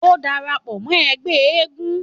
Ó ń dara pọ̀ mọ́ ẹgbẹ́ eégún.